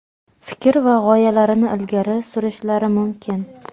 fikr va g‘oyalarini ilgari surishlari mumkin.